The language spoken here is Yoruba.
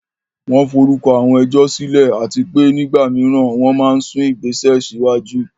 Wọ́n forúkọ àwọn ẹjọ́ sílẹ̀, àti pé nígbà mìíràn, wọ́n máa ń sún ìgbésẹ̀ síwájú.